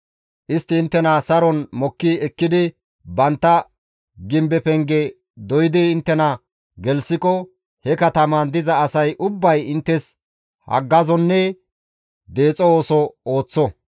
Istti inttena saron mokki ekkidi bantta gimbe penge doydi inttena gelththiko he katamaan diza asay ubbay inttes haggazonne deexo ooso ooththo.